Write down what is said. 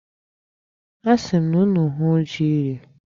Asịrị m unu hụọ ji rie.